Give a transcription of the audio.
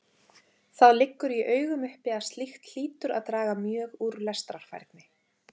Það liggur í augum uppi að slíkt hlýtur að draga mjög úr lestrarfærni.